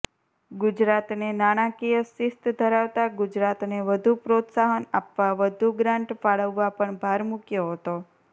ગુજરાતને નાણાંકીય શિસ્ત ધરાવતા ગુજરાતને વધુ પ્રોત્સાહન આપવા વધુ ગ્રાન્ટ ફાળવવા પણ ભાર મુક્યો હતો